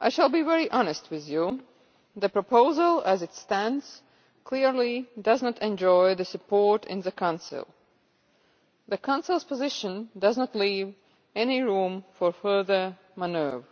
I shall be very honest with you the proposal as it stands clearly does not enjoy support in the Council. The Council's position does not leave any room for further manoeuvre.